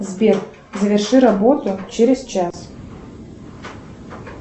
сбер заверши работу через час